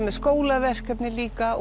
með skólaverkefni líka